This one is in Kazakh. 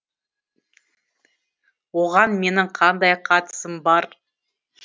оған менің қандай қатысым бар